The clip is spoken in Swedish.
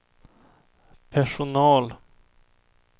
personal